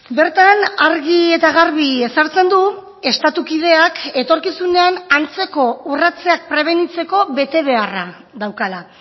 bertan argi eta garbi ezartzen du estatu kideak etorkizunean antzeko urratzeak prebenitzeko betebeharra daukala